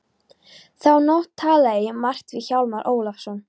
Þá nótt talaði ég margt við Hjálmar Ólafsson.